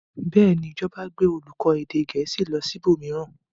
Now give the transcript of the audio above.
Bẹ́ẹ̀ ni, ìjọba gbé olùkọ́ èdè Gẹ̀ẹ́sì lọ ibòmíràn.